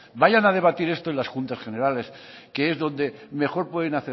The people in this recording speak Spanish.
vayan a debatir esto en las juntas generales que es donde mejor pueden